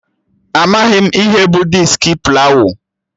Amaghị m ihe bụ diski plawụ